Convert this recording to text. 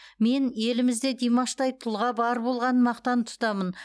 мен елімізде димаштай тұлға бар болғанын мақтан тұтамын